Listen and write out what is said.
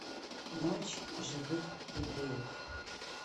ночь живых евреев